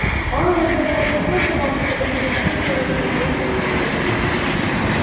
а он иногда бывает такой забавный когда не зацикливается на своих компьютерах